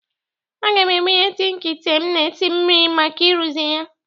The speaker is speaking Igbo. Aga m ebunye tịnka ịte m na-esi n mmiri maka ịrụzi ya